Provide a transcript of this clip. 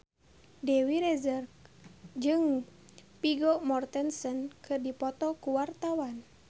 Dewi Rezer jeung Vigo Mortensen keur dipoto ku wartawan